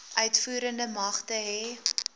uitvoerende magte hê